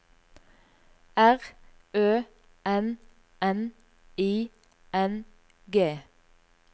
R Ø N N I N G